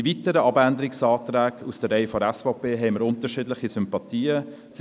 Den weiteren Abänderungsanträgen aus den Reihen der SVP bringen wir unterschiedliche Sympathien entgegen.